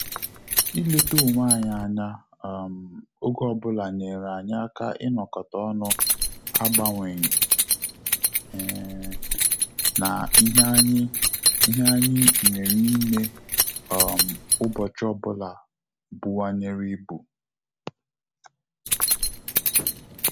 Ileta onwe anyị anya um oge ọbụla nyere anyị aka inokota ọnụ agbanyeghi um na ihe anyị ihe anyị nwere ime um ubochi ọ bụla bunwanyere ibu